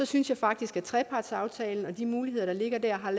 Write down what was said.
synes jeg faktisk at trepartsaftalen og de muligheder der ligger der har